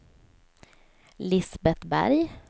Lisbet Berg